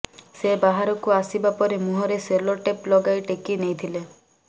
ସେ ବାହାରକୁ ଆସିବା ପରେ ମୁହଁରେ ସେଲୋ ଟେପ ଲଗାଇ ଟେକି ନେଇଥିଲେ